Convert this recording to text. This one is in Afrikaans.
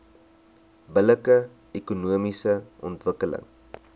billike ekonomiese ontwikkeling